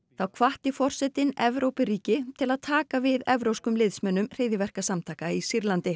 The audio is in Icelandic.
þá hvatti forsetinn Evrópuríki til að taka við evrópskum liðsmönnum hryðjuverkasamtaka í Sýrlandi